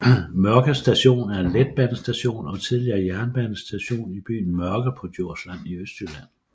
Mørke Station er en letbanestation og tidligere jernbanestation i byen Mørke på Djursland i Østjylland